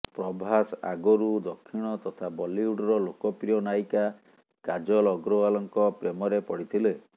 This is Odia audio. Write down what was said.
ପ୍ରଭାସ ଆଗରୁ ଦକ୍ଷିଣ ତଥା ବଲିଉଡର ଲୋକପ୍ରିୟ ନାୟିକା କାଜଲ ଅଗ୍ରୱାଲଙ୍କ ପ୍ରେମରେ ପଡ଼ିଥିଲେ